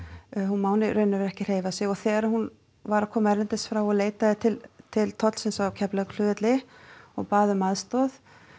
hún má í raun og veru ekki hreyfa sig og þegar hún var að koma erlendis frá og leitaði til til tollsins á Keflavíkurflugvelli og bað um aðstoð